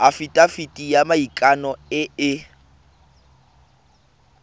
afitafiti ya maikano e e